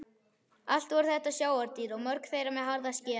Allt voru þetta sjávardýr og mörg þeirra með harða skel.